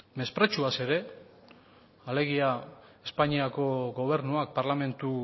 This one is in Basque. mespretxuaz ere alegia espainiako gobernuak parlamentu